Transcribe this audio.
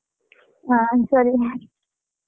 ಹ ಸರಿ.